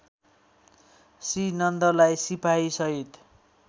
श्रीनन्दलाई सिपाही सहित